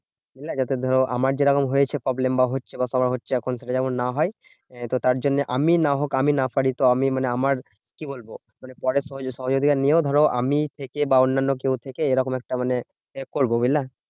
বুঝলে? আমার যেরকম হয়েছে problem বা হচ্ছে বা কারোর হচ্ছে। এখন থেকে যেমন না হয়, তো তার জন্য আমি না হোক আমি না পারি তো আমি মানে আমার কি বলবো? মানে পরের সহযোগি~ সহযোগিতা নিয়েও ধরো আমি থেকে বা অন্যান্য কেউ থেকে এরকম একটা মানে help করবো, বুঝলে?